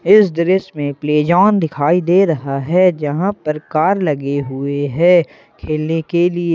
इस दृश्य में प्ले जोन दिखाई दे रहा है जहां पर कार लगे हुए हैं खेलने के लिए।